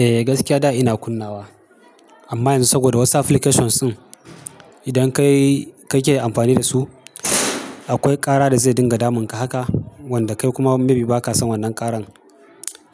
Eh gaskiya da ina kunnawa amma yanzu saboda wasu applications din idan kai, ka ke amfani da su akwai ƙara da zai dinga damun ka haka wanda kai kuma maybe ba ka san wannan ƙaran.